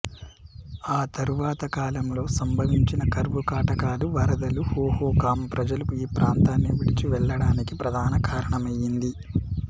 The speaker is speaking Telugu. ఆ తరువాత కాలంలో సంభవించిన కరువు కాటకాలు వరదలు హోహోకామ్ ప్రజలు ఈ ప్రాంతాన్ని విడిచి వెళ్ళడానికి ప్రధాన కారణమైంది